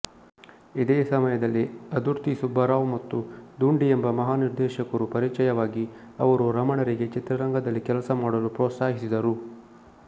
ಇದೇ ಸಮಯದಲ್ಲಿ ಅದುರ್ತಿ ಸುಬ್ಬರಾವ್ ಮತ್ತು ದುಂಡಿ ಎಂಬ ಮಹಾನ್ ನಿರ್ದೇಶಕರು ಪರಿಚಯವಾಗಿ ಅವರು ರಮಣರಿಗೆ ಚಿತ್ರರಂಗದಲ್ಲಿ ಕೆಲಸಮಾಡಲು ಪ್ರೊತ್ಸಾಹಿಸಿದರು